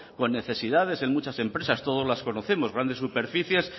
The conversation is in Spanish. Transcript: con necesidades en muchas empresas todas las conocemos grandes superficies